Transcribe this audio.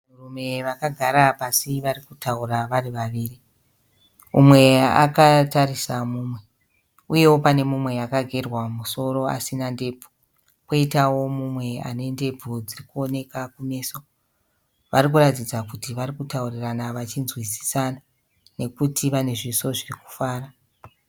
Vanhurume vakagara pasi varikutaura varivaviri. Umwe akatarisa mumwe, uye panewo pane mumwe akagerwa musoro asina ndebvu. Koitawo mumwe anendebvu dzirikuoneka kumeso. Varikuratidza kuti varikutaurirana vachinzwisisana, nekuti vanezviso zvirikufara.